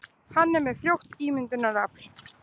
Hann er með frjótt ímyndunarafl.